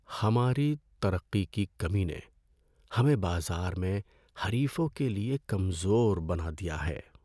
ہماری ترقی کی کمی نے ہمیں بازار میں حریفوں کے لیے کمزور بنا دیا ہے۔